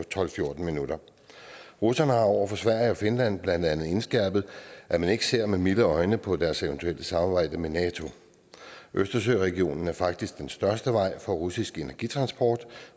fjorten minutter russerne har over for sverige og finland blandt andet indskærpet at man ikke ser med milde øjne på deres eventuelle samarbejde med nato østersøregionen er faktisk den største vej for russisk energitransport